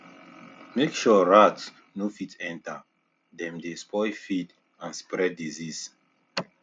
make sure rats no fit enter dem dey spoil feed and spread disease